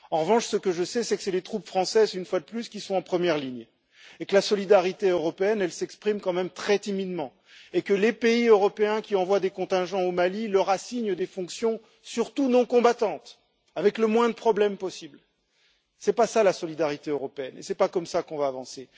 En revanche, ce que je sais, c'est que ce sont les troupes françaises une fois de plus qui sont en première ligne et que la solidarité européenne s'exprime quand même très timidement, et que les pays européens qui envoient des contingents au Mali leur assignent des fonctions surtout non combattantes, avec le moins de problèmes possibles. Ce n'est pas ça la solidarité européenne et ce n'est pas comme ça qu'on va avancer.